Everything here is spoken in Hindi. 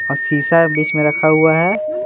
और शीशा बीच में रखा हुआ है।